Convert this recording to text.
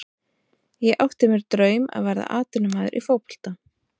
Ég átti mér draum að verða atvinnumaður í fótbolta.